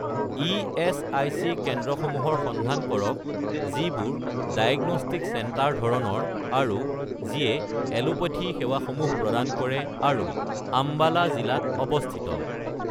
ESIC কেন্দ্ৰসমূহৰ সন্ধান কৰক যিবোৰ ডায়েগনষ্টিক চেণ্টাৰ ধৰণৰ আৰু যিয়ে এলোপেথী সেৱাসমূহ প্ৰদান কৰে আৰু আম্বালা জিলাত অৱস্থিত